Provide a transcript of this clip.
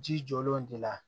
Ji jɔlen ti la